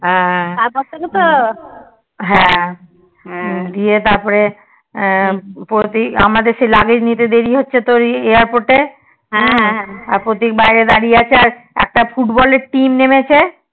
হ্যাঁ ইয়ে তারপরে প্রতীক আমাদের সেই luggage নিতে দেরি হচ্ছিলো যেহেতু সেই Airport এ আর প্রতীক বাইরে দাঁড়িয়ে আছে আর একটা foot ball এর team নেমেছে